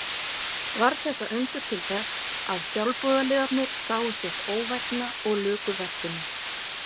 Varð þetta undur til þess að sjálfboðaliðarnir sáu sitt óvænna og luku verkinu.